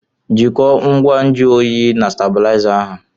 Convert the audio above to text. jikọọ ngwa nju oyi na stábịlịzá ahụ